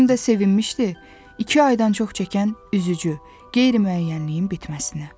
Həm də sevinmişdi, iki aydan çox çəkən üzücü, qeyri-müəyyənliyin bitməsinə.